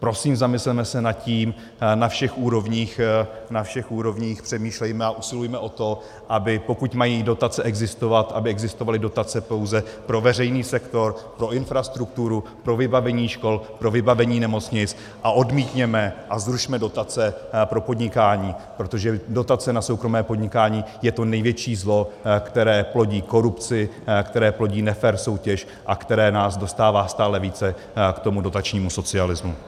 Prosím, zamysleme se nad tím na všech úrovních, na všech úrovních přemýšlejme a usilujme o to, aby pokud mají dotace existovat, aby existovaly dotace pouze pro veřejný sektor, pro infrastrukturu, pro vybavení škol, pro vybavení nemocnic, a odmítněme a zrušme dotace pro podnikání, protože dotace na soukromé podnikání je to největší zlo, které plodí korupci, které plodí nefér soutěž a které nás dostává stále více k tomu dotačnímu socialismu.